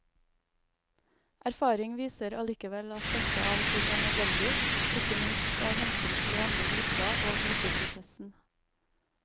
Erfaring viser allikevel at dette av og til er nødvendig, ikke minst av hensyn til de andre i gruppa og gruppeprosessen.